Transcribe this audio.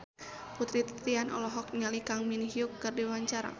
Putri Titian olohok ningali Kang Min Hyuk keur diwawancara